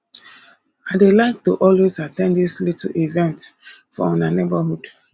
i dey like to always at ten d dis little events for una neighborhood